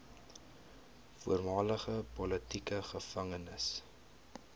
voormalige politieke gevangenes